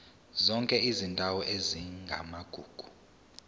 zonke izindawo ezingamagugu